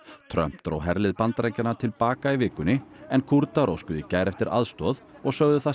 Trump dró herlið Bandaríkjanna til baka í vikunni en Kúrdar óskuðu í gær eftir aðstoð og sögðu það